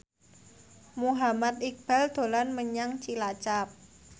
Muhammad Iqbal dolan menyang Cilacap